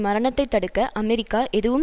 மரணத்தைத்தடுக்க America எதுவும்